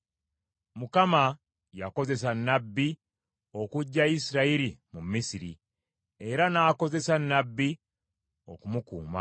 Mukama yakozesa nnabbi okuggya Isirayiri mu Misiri, era n’akozesa nnabbi okumukuuma.